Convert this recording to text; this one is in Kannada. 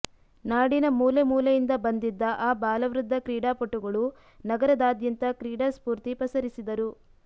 ನಾಡಿನ ಮೂಲೆ ಮೂಲೆಯಿಂದ ಬಂದಿದ್ದ ಆಬಾಲವೃದ್ಧ ಕ್ರೀಡಾಪಟುಗಳು ನಗರದಾದ್ಯಂತ ಕ್ರೀಡಾಸ್ಫೂರ್ತಿ ಪಸರಿಸಿದರು